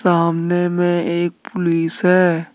सामने में एक पुलिस है।